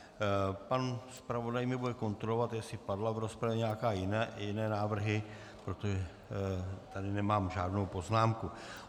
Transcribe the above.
Pan zpravodaj mě bude kontrolovat, jestli padly v rozpravě nějaké jiné návrhy, protože tady nemám žádnou poznámku.